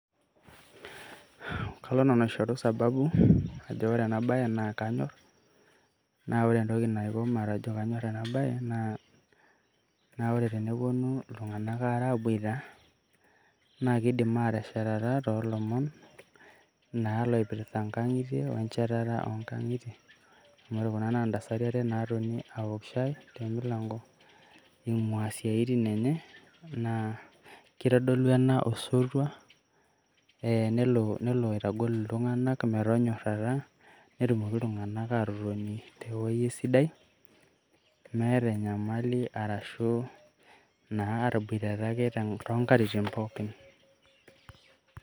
Kalo nanu aishoru sababu ajo ore ena baye naa kanyorr, naa ore entoki naiko matejo kanyorr ena baye naa ore teneponu iltung`anak aare aabuita naa kidim aatesheteta too lomon naa loipirta nkang`itie o ncheteta oo nkang`itie. amu ore kuna naa ntasati are natonita taa te milango eing`ua siatin enye naa keitodolu ena osotua nelo aitagol iltung`anak pee metonyorrata netumoki iltung`anak aatotoni te wueji sidai meeta enyamali arashu atabuaitata ake too nkatitin pookin.